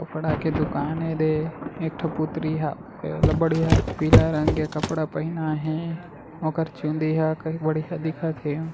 कपडा की दुकान है दे एकठ पूर्ति हा बडीया पिला रंग का कपडा पहेना है ओकर चुनड़ी हा बढ़िया दिखत है।